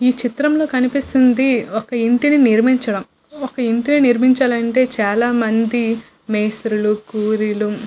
ఈ చిత్రంలో కనిపిస్తున్నది ఒక ఇంటిని నిర్మించడం. ఒక ఇంటిని నిర్మించాలంటే చాలా మంది మేస్త్రీలు కూలీలు --